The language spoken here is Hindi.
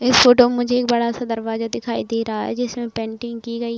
इस फ़ोटो में मुझे एक बड़ा-सा दरवाजा दिखाई दे रहा है जिसमें पेंटिंग की गई --